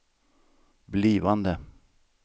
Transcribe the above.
blivande